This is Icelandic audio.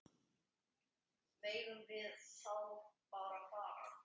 Megum við þá bara fara?